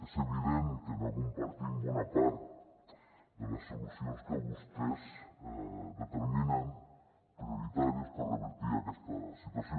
és evident que no compartim bona part de les solucions que vostès determinen prioritàries per revertir aquesta situació